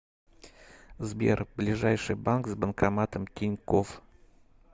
сбер ближайший банк с банкоматом тинькофф